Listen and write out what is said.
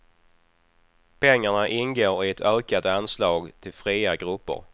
Pengarna ingår i ett ökat anslag till fria grupper.